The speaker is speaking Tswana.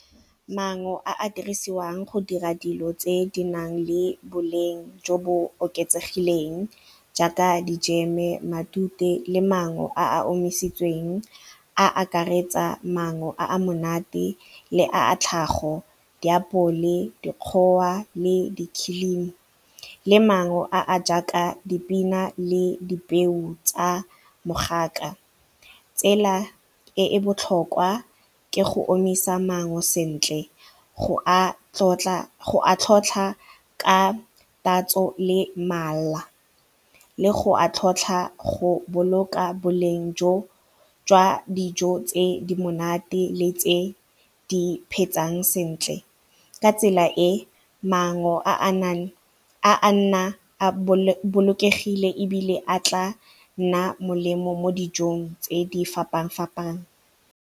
Mango a a dirisiwang go dira dilo tse di nang le boleng jo bo oketsegileng jaaka dijeme, matute le mango a a omisitsweng a akaretsa maungo a a monate le a tlhago diapole, dikgowa le dikhilimi le mango a a jaaka dipina le dipeo tsa mogaka. Tsela e e botlhokwa ke go omisa mango sentle go a tlhotlha ka tatso le mala le go a tlhotlha go boloka boleng jwa dijo tse di monate le tse di phetseng sentle, ka tsela e maungo a nang a nna a bolokegile ebile a tla nna molemo mo dijong tse di fapafapane.